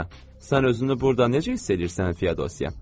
Hə, sən özünü burda necə hiss eləyirsən Feodosya?